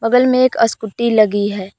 बगल में एक आसकुटि लगी है।